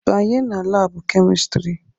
Banye na laabụ kemistrị!